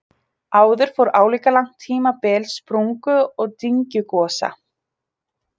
Áður fór álíka langt tímabil sprungu- og dyngjugosa.